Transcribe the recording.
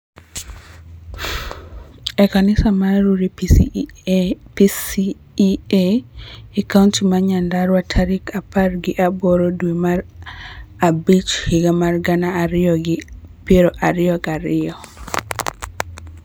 e kanisa mar Rurii PCEA e kaonti ma Nyandarua tarik apar gi aboro dwe mar abich higa mar gana ariyo gi piero ariyo gi ariyo